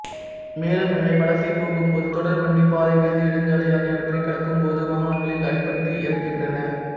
மேலும் இவை வலசை போகும்போது தொடர்வண்டி பாதை தேசிய நெடுஞ்சாலை ஆகியவற்றைக் கடக்கும்போது வாகனங்களில் அடிப்பட்டு இறக்கின்றன